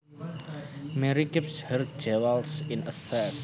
Mary keeps her jewels in a safe